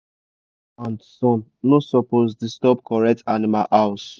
rain and sun no supppose disturb correct animal house